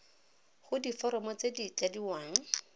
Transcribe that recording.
go diforomo tse di tladiwang